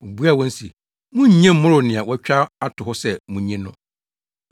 Obuaa wɔn se, “Munnnye mmmoro nea wɔatwa ato hɔ sɛ munnye no.”